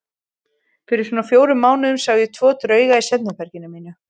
Fyrir svona fjórum mánuðum sá ég tvo drauga í svefnherberginu mínu.